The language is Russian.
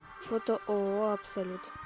фото ооо абсолют